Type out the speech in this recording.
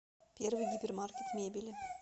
первый гипермаркет мебели